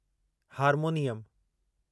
harmonium